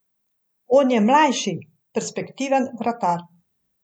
Zdaj, nočem nas hvaliti.